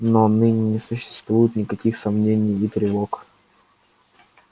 но ныне не существует никаких сомнений и тревог